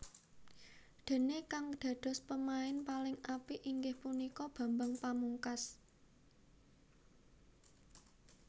Déné kang dados pemain paling apik inggih punika Bambang Pamungkas